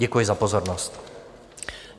Děkuji za pozornost.